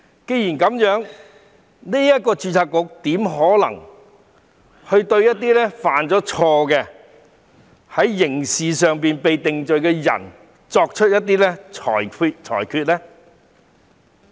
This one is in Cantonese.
既然是這樣，註冊局怎可能會對一些犯錯、被裁定犯了刑事罪的人作出裁決呢？